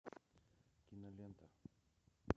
кинолента